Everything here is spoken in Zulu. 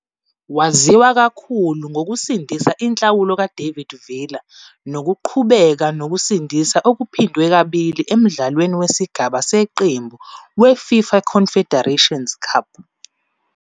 Waziwa kakhulu ngokusindisa inhlawulo ka-David Villa nokuqhubeka nokusindisa okuphindwe kabili emdlalweni wesigaba seqembu we-FIFA Confederations Cup